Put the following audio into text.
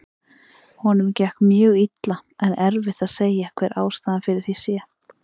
Honum gekk mjög illa en erfitt að segja hver ástæðan fyrir því sé.